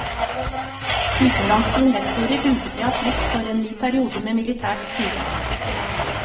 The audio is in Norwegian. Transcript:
Utenlandske investorer uteble av frykt for en ny periode med militært styre.